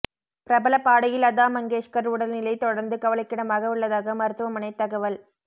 பிரபல பாடகி லதா மங்கேஷ்கர் உடல்நிலை தொடர்ந்து கவலைக்கிடமாக உள்ளதாக மருத்துவமனை தகவல்